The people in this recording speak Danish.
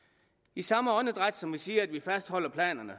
i samme åndedræt som vi siger at vi fastholder planerne